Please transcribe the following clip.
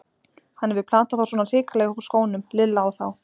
Hann hefur platað þá svona hrikalega upp úr skónum, Lilla og þá!